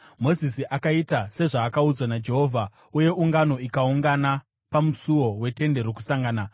Mozisi akaita sezvaakaudzwa naJehovha, uye ungano ikaungana pamusuo weTende Rokusangana.